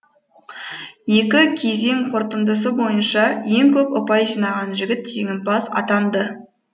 екі кезең қорытындысы бойынша ең көп ұпай жинаған жігіт жеңімпаз атанды